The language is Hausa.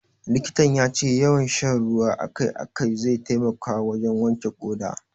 Likitan ya ce yawan sha ruwa a kai a kai zai taimaka wajen wanke ƙoda.